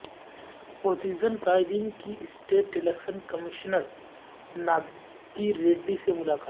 opposition قائدین کی state election commissioner Nagi Reddy سے ملاقات